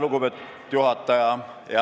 Lugupeetud juhataja!